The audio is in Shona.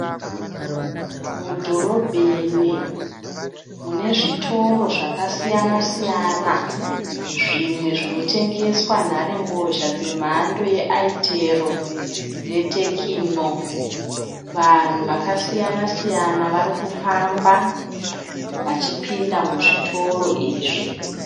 Mudhorobheni munezvitoro zvakasiyana-siyana. Zvimwe zvinotengeswa nharembozha dzemhando yeaitero netekino. Vanhu vakasiyana-siyana varikufamba vachipinda muzvitoro izvi.